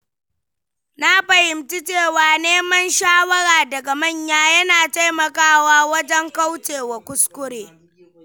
Na fahimci cewa neman shawara daga manya yana taimakawa wajen kaucewa kuskure.